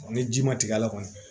Ni ji ma tigɛ a la kɔni